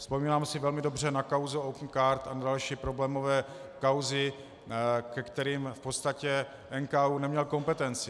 Vzpomínám si velmi dobře na kauzu Opencard a další problémové kauzy, ke kterým v podstatě NKÚ neměl kompetenci.